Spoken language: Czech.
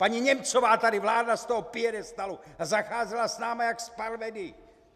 Paní Němcová tady vládla z toho piedestalu a zacházela s námi jak s parvenu.